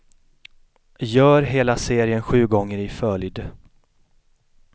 Gör hela serien sju gånger i följd.